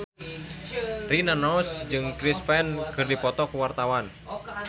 Rina Nose jeung Chris Pane keur dipoto ku wartawan